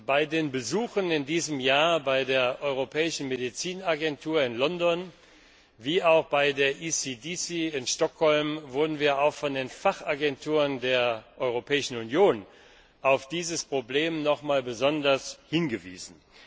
Bei den Besuchen in diesem Jahr bei der Europäischen Medizinagentur in London wie auch bei der ECDC in Stockholm wurden wir auch von den Fachagenturen der Europäischen Union auf dieses Problem nochmals besonders hingewiesen.